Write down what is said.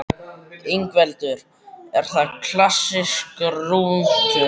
Ingveldur: Er það klassískur rúntur?